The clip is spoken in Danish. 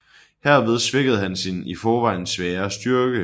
Herved svækkede han sin i forvejen svagere styrke